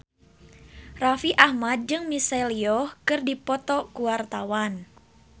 Raffi Ahmad jeung Michelle Yeoh keur dipoto ku wartawan